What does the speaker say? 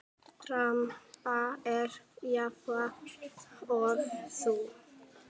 Dramb er jafnan þessu næst.